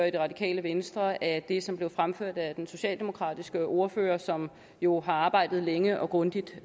i det radikale venstre af det som blev fremført af den socialdemokratiske ordfører som jo har arbejdet længe og grundigt